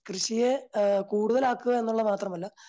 കൃഷിയെ അഹ് കൂടുതലാക്കുക എന്നതുമാത്രമല്ല